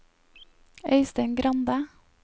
Øystein Grande